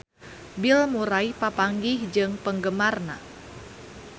Bill Murray papanggih jeung penggemarna